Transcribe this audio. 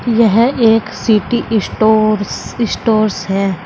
यह एक city stores stores है।